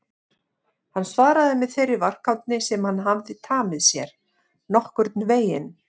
Hann svaraði með þeirri varkárni sem hann hafði tamið sér: Nokkurn veginn